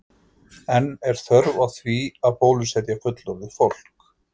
En er þörf á því að bólusetja fullorðið fólk?